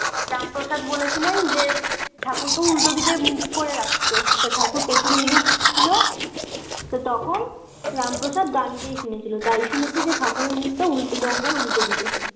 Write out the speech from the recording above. রামপ্রসাদ বলেছিলেন যে, ঠাকুরকে উল্টোদিকে মুখ করে রাখতে তো ঠাকুর পেছন দিকে মুখ ছিলো তো তখন রামপ্রসাদ গান গেয়ে শুনিয়েছিল তাই শুনেছি যে ঠাকুরের মুখ-টা উলটো, গঙ্গার উল্টোদিকে।